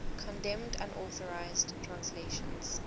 condemned unauthorized translations